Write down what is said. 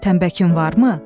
Təmbəkin varmı?